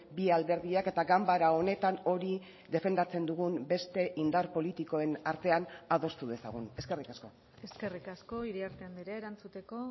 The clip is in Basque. bi alderdiak eta ganbara honetan hori defendatzen dugun beste indar politikoen artean adostu dezagun eskerrik asko eskerrik asko iriarte andrea erantzuteko